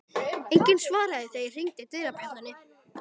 Enginn svaraði þegar ég hringdi dyrabjöllunni.